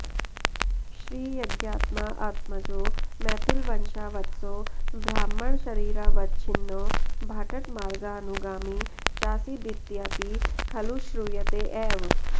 श्रीयज्ञात्माऽऽत्मजो मैथिलवंशावतंसो ब्राह्मण शरीरावच्छिन्नो भाट्टमार्गाऽनुगामी चासीदित्यपि खलु श्रूयते एव